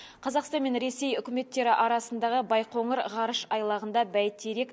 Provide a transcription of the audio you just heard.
қазақстан мен ресей үкіметтері арасындағы байқоңыр ғарыш айлағында бәйтерек